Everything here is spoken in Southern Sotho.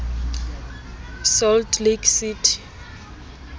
salt lake city